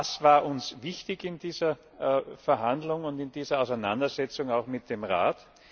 Was war uns wichtig in dieser Verhandlung und in dieser Auseinandersetzung mit dem Rat?